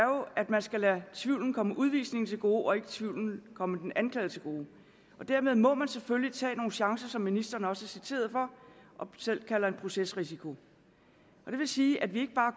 at man skal lade tvivlen komme udvisningen til gode og ikke lade tvivlen komme den anklagede til gode dermed må man selvfølgelig tage nogle chancer som ministeren også er citeret for og selv kalder en procesrisiko det vil sige at vi ikke bare